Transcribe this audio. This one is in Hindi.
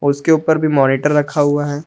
उसके ऊपर भी मॉनिटर रखा हुआ है।